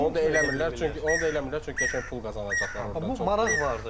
Onu da eləmirlər, çünki qəşəng pul qazanacaqlar orda, çox böyük.